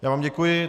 Já vám děkuji.